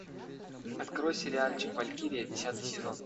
открой сериальчик валькирия десятый сезон